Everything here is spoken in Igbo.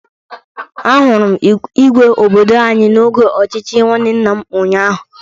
Ahụrụ m Igwe obodo anyị n'oge ochichi nwanne nna m ụnyaahụ.